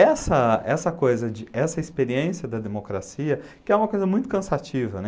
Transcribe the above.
essa essa, coisa de, essa experiência da democracia, que é uma coisa muito cansativa, né.